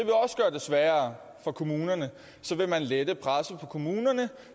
sværere for kommunerne så vil man lette presset på kommunerne